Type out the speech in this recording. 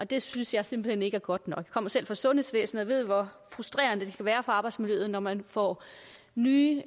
det synes jeg simpelt hen ikke er godt nok kommer selv fra sundhedsvæsenet ved hvor frustrerende det være for arbejdsmiljøet når man får nye